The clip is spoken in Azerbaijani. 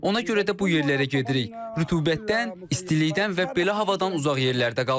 Ona görə də bu yerlərə gedirik, rütubətdən, istilikdən və belə havadan uzaq yerlərdə qalırıq.